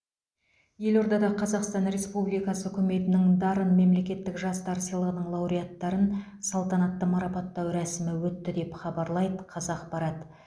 елордада қазақстан республикасы үкіметінің дарын мемлекеттік жастар сыйлығының лауреаттарын салтанатты марапаттау рәсімі өтті деп хабарлайды қазақпарат